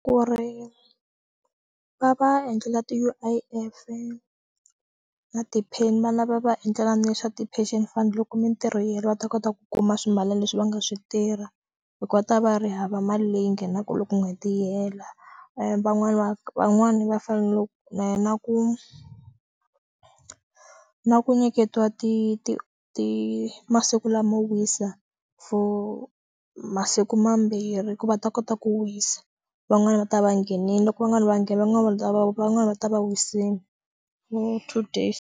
Ku ri va va endlela ti U_I_F na ti-pin-i va endlela na swa ti pension fund loko mintirho yo va ta kota ku kuma swimilana leswi va nga swi tirha hi ku va ta va ri hava mali leyi nghenaka loko n'hweti yi hela van'wani va van'wani va fanele va na ku na ku nyiketiwa ti ti ti masiku lama wisa for masiku mambirhi ku va ta kota ku wisa van'wani va ta va nghenile loko van'wani va nghena van'wana va ta va wisile two days.